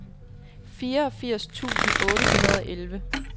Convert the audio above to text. fireogfirs tusind otte hundrede og elleve